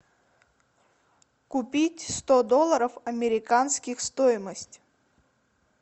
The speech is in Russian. купить сто долларов американских стоимость